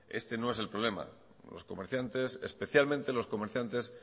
este no es el problema los comerciantes especialmente los comerciantes